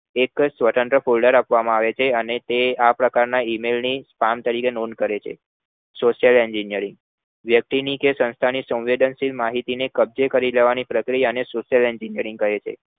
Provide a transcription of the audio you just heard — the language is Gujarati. એકજ સ્વતંત્ર folder આપવામાં આવે છે અને તે આ પ્રકાર ના email ની કામ તરીકે નોન કરે છે software engineering વ્યક્તિ ની કે સંસ્થાની સંવેદનશીલ માહિતી ની કબજેકરી લેવાની પ્રક્રિયા ને software engineering કહે છે